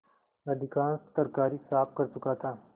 अधिकांश तरकारी साफ कर चुका था